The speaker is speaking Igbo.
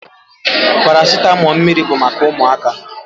Paracitamọ mmiri bụ maka ụmụaka.